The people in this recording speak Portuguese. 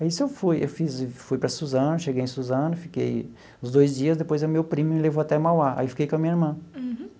Aí isso eu fui, eu fiz fui para Suzano, cheguei em Suzano, fiquei uns dois dias, depois o meu primo me levou até Mauá, aí fiquei com a minha irmã. Uhum.